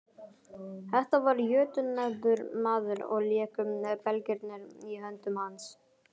Þetta var jötunefldur maður og léku belgirnir í höndum hans.